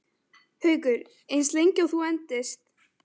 Haukur: Eins lengi og þú endist?